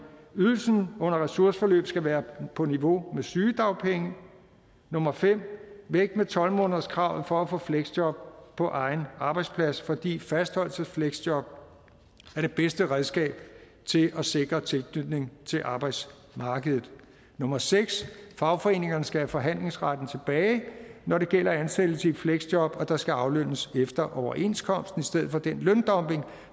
ydelsen under ressourceforløb skal være på niveau med sygedagpenge 5 tolv månederskravet for at få fleksjob på egen arbejdsplads fordi fastholdelsesfleksjob er det bedste redskab til at sikre tilknytning til arbejdsmarkedet 6 fagforeningerne skal have forhandlingsretten tilbage når det gælder ansættelse i et fleksjob og der skal aflønnes efter overenskomsten i stedet for den løndumping